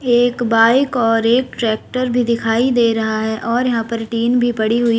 एक बाइक और एक ट्रैक्टर भी दिखाई दे रहा है और यहां पर टीन भी पड़ी हुई--